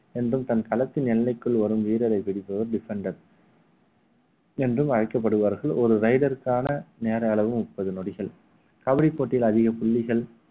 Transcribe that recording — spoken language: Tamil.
என்றும் தன் களத்தின் எல்லைக்குள் வரும் வீரரை பிடிப்பவர் defender என்றும் அழைக்கப்படுவார்கள் ஒரு raider க்கான நேர அளவு முப்பது நொடிகள் கபடி போட்டியில் அதிக புள்ளிகள்